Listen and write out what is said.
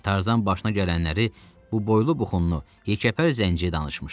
Tarzan başına gələnləri bu boylu buxunlu yekəpər zənciyə danışmışdı.